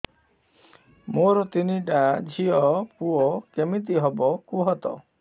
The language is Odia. ମୋର ତିନିଟା ଝିଅ ପୁଅ କେମିତି ହବ କୁହତ